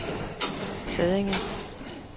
Sædinge